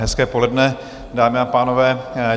Hezké poledne, dámy a pánové.